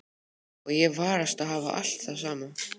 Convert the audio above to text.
Og ég varast að hafa alltaf það sama.